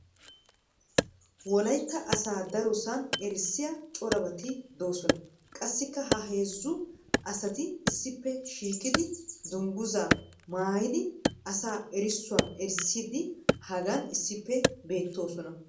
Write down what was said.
Wolaytta asaa darosan errisiya corabati dosona. qassikka ha heezzu asati issippe shiiqidi danguzaa naayidi asaa erissuwa erisiidi hagan issippe beetosona.